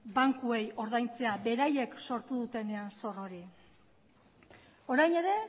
bankuei ordaintzea beraiek sortu dutenean zor hori orain ere